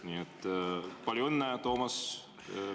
Nii et palju õnne, Toomas!